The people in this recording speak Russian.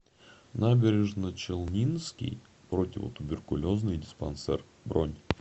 набережночелнинский противотуберкулезный диспансер бронь